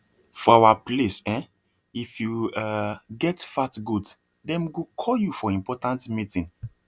for our place um if you um get fat goat dem go call you for important meeting